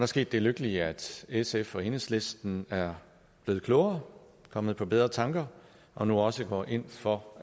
sket det lykkelige at sf og enhedslisten er blevet klogere og kommet på bedre tanker og nu også går ind for